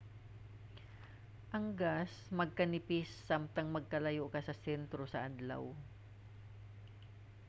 ang gas magkanipis samtang magkalayo ka sa sentro sa adlaw